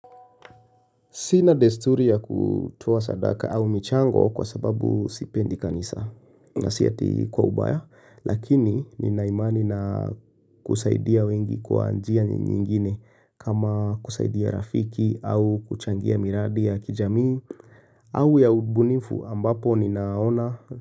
Sina desturi ya kutoa sadaka au michango kwa sababu sipendi kanisa na si ati kwa ubaya lakini nina imani na kusaidia wengi kwa njia nyingine kama kusaidia rafiki au kuchangia miradi ya kijamii au ya ubunifu ambapo ninaona.